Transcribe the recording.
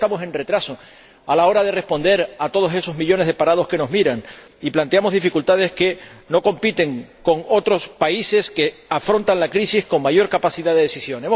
Por eso vamos con retraso a la hora de responder a todos esos millones de parados que nos miran y planteamos dificultades que no surgen en otros países que afrontan la crisis con mayor capacidad de decisión.